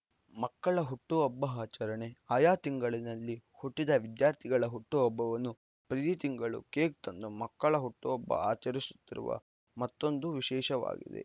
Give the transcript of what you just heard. ಮಕ್ಕಳ ಹುಟ್ಟುಹಬ್ಬ ಆಚರಣೆ ಆಯಾ ತಿಂಗಳಿನಲ್ಲಿ ಹುಟ್ಟಿದ ವಿದ್ಯಾರ್ಥಿಗಳ ಹುಟ್ಟುಹಬ್ಬವನ್ನು ಪ್ರತಿ ತಿಂಗಳು ಕೇಕ್‌ ತಂದು ಮಕ್ಕಳ ಹುಟ್ಟುಹಬ್ಬ ಆಚರಿಸುತ್ತಿರುವ ಮತ್ತೊಂದು ವಿಶೇಷವಾಗಿದೆ